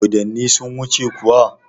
Dodonni sun wuce kuwa?